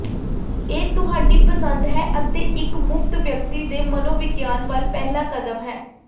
ਇਹ ਤੁਹਾਡੀ ਪਸੰਦ ਹੈ ਅਤੇ ਇੱਕ ਮੁਫ਼ਤ ਵਿਅਕਤੀ ਦੇ ਮਨੋਵਿਗਿਆਨ ਵੱਲ ਪਹਿਲਾ ਕਦਮ ਹੈ